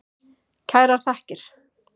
Kærar þakkir.